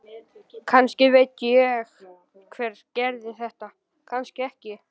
Kannski veit ég hver gerði þetta, kannski ekki.